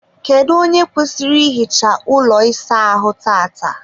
kedụ onye kwesịrị ihicha ụlọ ịsa ahụ tata?